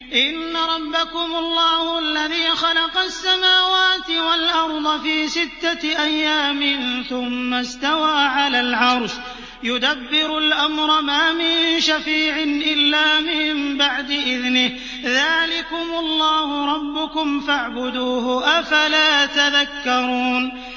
إِنَّ رَبَّكُمُ اللَّهُ الَّذِي خَلَقَ السَّمَاوَاتِ وَالْأَرْضَ فِي سِتَّةِ أَيَّامٍ ثُمَّ اسْتَوَىٰ عَلَى الْعَرْشِ ۖ يُدَبِّرُ الْأَمْرَ ۖ مَا مِن شَفِيعٍ إِلَّا مِن بَعْدِ إِذْنِهِ ۚ ذَٰلِكُمُ اللَّهُ رَبُّكُمْ فَاعْبُدُوهُ ۚ أَفَلَا تَذَكَّرُونَ